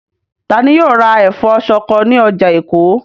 Ta ni yóò ra ẹ̀fọ́ ṣọkọ ní ọjà Èkó?